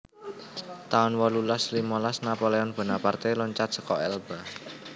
taun wolulas limolas Napoleon Bonaparte loncat seka Elba